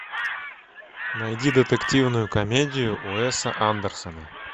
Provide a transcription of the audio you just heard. найди детективную комедию уэса андерсона